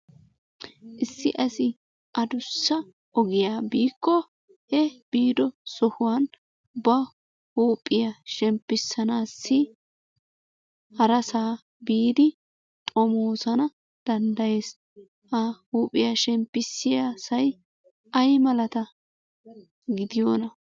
Issi asi adussa ogiya biikko i biido sohuwan ba huuphiya shemppisanassi harasaa biidi xomoosana danddayees, ha huuphiya shemppisiyassay ay malata gidiyoonaa?